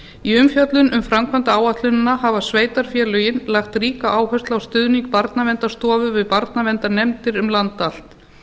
í umfjöllun um framkvæmdaáætlunina hafa sveitarfélögin lagt ríka áherslu á stuðning barnaverndarstofu við barnaverndarnefndir um land allt